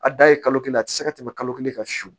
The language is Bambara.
A da ye kalo kelen ye a tɛ se ka tɛmɛ kalo kelen kan